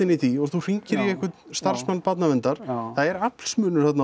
í því og þú hringir í einhvern starfsmann barnaverndar það er aflsmunur þarna